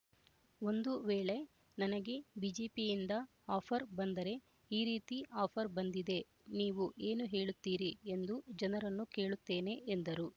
ಒಂದು ವೇಳೆ ನನಗೆ ಬಿಜೆಪಿಯಿಂದ ಆಫರ್ ಬಂದರೆ ಈ ರೀತಿ ಆಫರ್ ಬಂದಿದೆ ನೀವು ಏನು ಹೇಳುತ್ತೀರಿ ಎಂದು ಜನರನ್ನು ಕೇಳುತ್ತೇನೆ ಎಂದರು